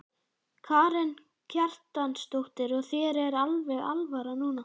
Karen Kjartansdóttir: Og þér er alveg alvara núna?